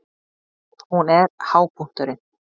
Hún er hápunkturinn.